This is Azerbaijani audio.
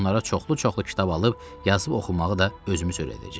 Onlara çoxlu-çoxlu kitab alıb yazıb oxumağı da özümüz öyrədəcəyik.